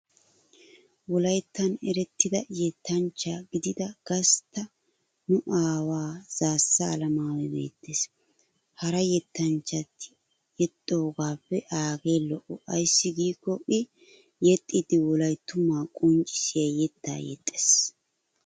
Wolayttan erettida yettanchcha gidida gastta nu aawaa zaassa alamaayoy beettes. Hara yettanchchati yexxiyoogaappe aagee lo'o ayssi giikko I yexxiiddi wolayttumaa qonccissiya yettaa yexxes.